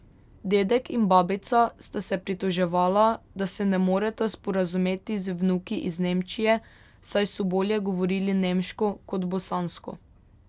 Dedek in babica sta se pritoževala, da se ne moreta sporazumeti z vnuki iz Nemčije, saj so bolje govorili nemško kot bosansko.